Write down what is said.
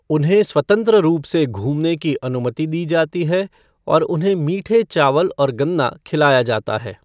उन्हें स्वतंत्र रूप से घूमने की अनुमति दी जाती है और उन्हें मिठे चावल और गन्ना खिलाया जाता है।